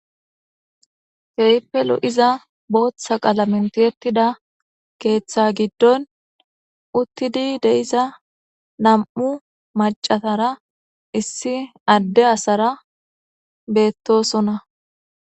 teipelu iza booththa qala mintiettida keeththa giddon uttidi deiza nam7u macatara issi adde asara beettosona